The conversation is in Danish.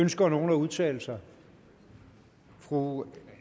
ønsker nogen at udtale sig fru